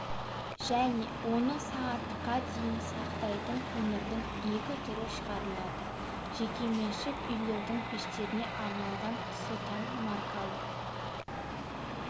және оны сағатқа дейін сақтайтын көмірдің екі түрі шығарылады жекеменшік үйлердің пештеріне арналған сотан маркалы